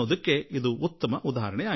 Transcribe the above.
ಇದೇ ಅದಕ್ಕೆ ಉದಾಹರಣೆಯಾಗಿದೆ